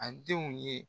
A denw ye